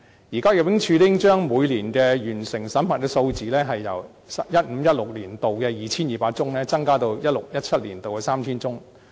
目前，入境處每年完成審核的數字，已由 2015-2016 年度的 2,200 宗，增加至 2016-2017 年度的 3,000 宗。